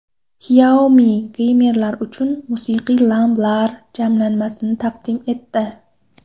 Xiaomi geymerlar uchun musiqiy lampalar jamlanmasini taqdim etdi.